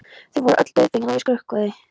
Þau voru öll dauðfegin að ég skrökvaði.